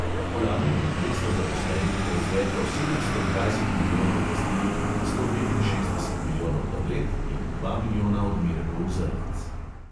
Lani je dvesto zaposlenih proizvedlo sedemsto dvajset milijonov pastil, sto petinšestdeset milijonov tablet in dva milijona odmerkov zrnc.